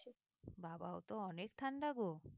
বাবাঃ ওতো অনেক ঠান্ডা গো।